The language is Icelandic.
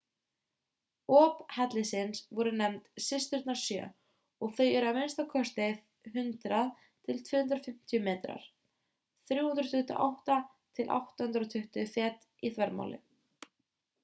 op hellisins voru nefnd systurnar sjö og þau eru a.m.k. 100 til 250 metrar 328 til 820 fet í þvermál